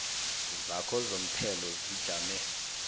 zakho zomthelo zijame